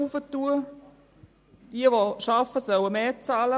Diejenigen, welche arbeiten, sollen mehr bezahlen.